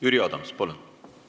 Jüri Adams, palun!